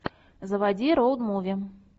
заводи роуд муви